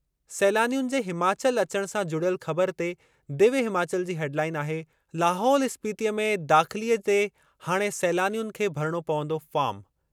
सैलानियुनि जे हिमाचल अचणु सां जुड़ियल ख़बर ते दिव्य हिमाचल जी हेडलाइन आहे, लाहौल स्पीतिअ में दाख़िलीअ ते हाणे सैलानियुनि खे भरिणो पवंदो फ़ॉर्म।